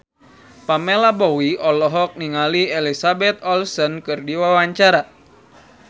Pamela Bowie olohok ningali Elizabeth Olsen keur diwawancara